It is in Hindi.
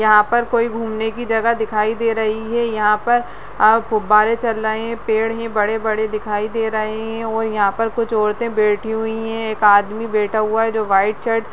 यहाँ पर कोई घूमने की जगह दिखाई दे रही है यहाँ पर फुवारे चल रहे हैं पेड़ हैं बड़े-बड़े दिखाई दे रहे हैं और यहाँ पर कुछ औंरते बैठी हुई हैं एक आदमी बैठा हुआ है जो वाइट शर्ट --